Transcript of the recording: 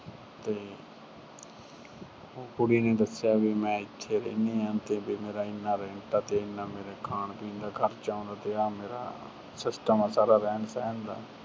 ਤੇ ਕੁੜੀ ਨੇ ਦੱਸਿਆ ਵੀ ਮੈਂ ਇੱਥੇ ਰਹਿੰਦੀ ਆਂ ਤੇ ਵੀ ਮੇਰਾ ਇੰਨਾ rent ਏ ਤੇ ਇੰਨਾ ਮੇਰਾ ਖਾਣ-ਪੀਣ ਤੇ ਖਰਚਾ ਆਉਂਦਾ। ਤੇ ਆ ਮੇਰਾ system ਆ ਰਹਿਣ ਸਹਿਣ ਦਾ।